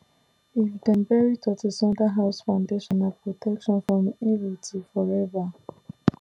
if dem bury tortoise under house foundation na protection from evil till forever